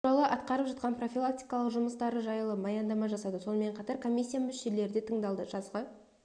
туралы атқарып жатқан профилактикалық жұмыстары жайлы баяндама жасады сонымен қатар комиссия мүшелері де тыңдалды жазғы